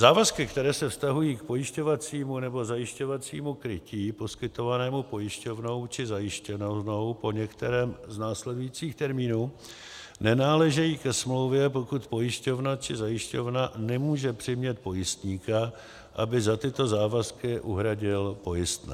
Závazky, které se vztahují k pojišťovacímu nebo zajišťovacímu krytí poskytovanému pojišťovnou či zajišťovnou po některém z následujících termínů, nenáležejí ke smlouvě, pokud pojišťovna či zajišťovna nemůže přimět pojistníka, aby za tyto závazky uhradil pojistné.